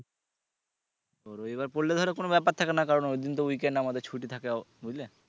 রবিবার পরলে ধরো কোন ব্যাপার থাকেনা কারণ ওই দিন তো weekend আমাদের ছুটি থাকে বুঝলে